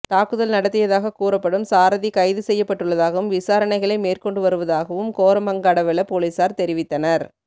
தாக்குதல் நடாத்தியதாக கூறப்படும் சாரதி கைது செய்யப்பட்டுள்ளதாகவும் விசாரணைகளை மேற்கொண்டு வருவதாகவும் கோமரங்கடவெல பொலிஸார் தெரிவித்தனர்